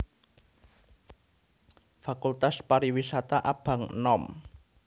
Fakultas Pariwisata abang enom